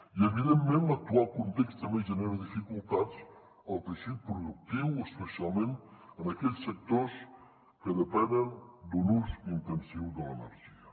i evidentment l’actual context també genera dificultats al teixit productiu especialment en aquells sectors que depenen d’un ús intensiu de l’energia